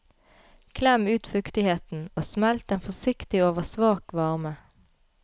Klem ut fuktigheten og smelt den forsiktig over svak varme.